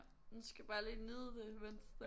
Nu skal jeg bare lige nyde det mens det er